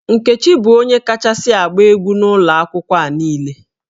Nkechi bụ onye kachasị agba egwu n'ụlọ akwụkwọ a niile